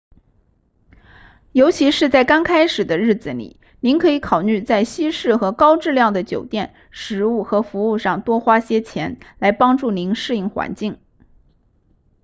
尤其是在刚开始的日子里您可以考虑在西式和高质量的酒店食物和服务上多花些钱来帮助您适应环境